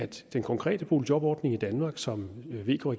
den konkrete boligjobordning i danmark som vk